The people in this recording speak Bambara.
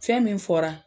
Fɛn min fɔra